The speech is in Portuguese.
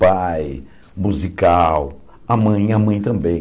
Pai, musical, a mãe a mãe também.